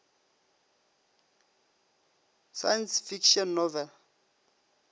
science fiction novel